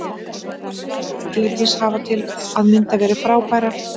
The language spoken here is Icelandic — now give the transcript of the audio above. Rakel og Ella Dís hafa til að mynda verið frábærar.